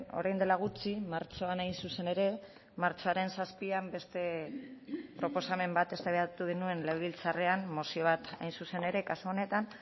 orain dela gutxi martxoan hain zuzen ere martxoaren zazpian beste proposamen bat eztabaidatu genuen legebiltzarrean mozio bat hain zuzen ere kasu honetan